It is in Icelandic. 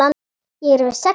Ég er með sex augu.